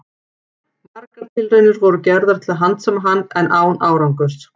Margar tilraunir voru gerðar til að handsama hann, en án árangurs.